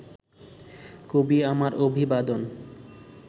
কবি আমার অভিবাদন